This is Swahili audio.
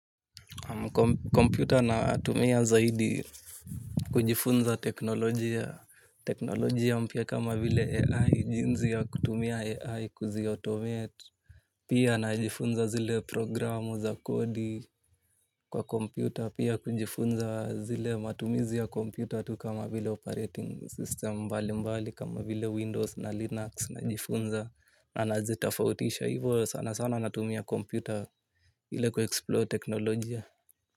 Computer natumia zaidi kujifunza teknolojia. Teknolojia mpya kama vile AI jinsi ya kutumia AI kuzi automate. Pia najifunza zile programu za kodi kwa kompyuta. Pia kujifunza zile matumizi ya kompyuta tu kama vile operating system mbali mbali kama vile Windows na Linux najifunza na nazitofautisha. Hivo sana sana natumia kompyuta ile ku explore teknolojia.